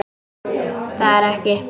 Það er ekki.